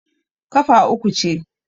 kafa uku ce